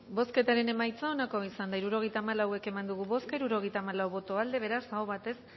bozketaren emaitza onako izan da hirurogeita hamalau eman dugu bozka hirurogeita hamalau boto aldekoa beraz aho batez